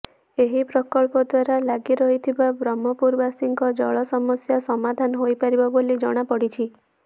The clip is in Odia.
ଏହି ପ୍ରକଳ୍ପ ଦ୍ୱାରା ଲାଗି ରହିଥିବା ବ୍ରହ୍ମପୁରବାସୀଙ୍କ ଜଳ ସମସ୍ୟା ସମାଧାନ ହୋଇପାରିବ ବୋଲି ଜଣାପଡ଼ିଛି